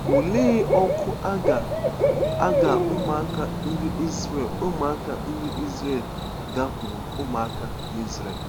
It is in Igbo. Olee òkù a gaa a gaa ụmụaka ndị Izrel ụmụaka ndị Izrel gaakwuru ụmụaka n’Izrel.